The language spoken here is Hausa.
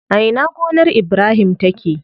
A ina gonar Ibrahim take?